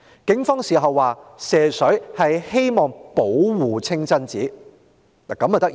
警方事後指射水是希望保護清真寺。